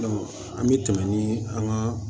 an bɛ tɛmɛ ni an ka